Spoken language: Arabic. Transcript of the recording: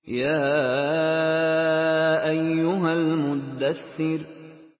يَا أَيُّهَا الْمُدَّثِّرُ